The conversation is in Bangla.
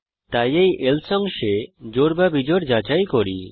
তাই এই এলসে অংশে জোড় বা বিজোড় যাচাই করি